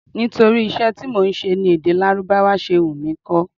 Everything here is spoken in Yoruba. Nítorí iṣẹ́ tí mò ń ṣe ni èdè Lárúbáwá ṣe wù mí kó.